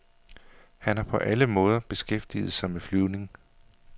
Han har på alle mulige måder beskæftiget sig med flyvning.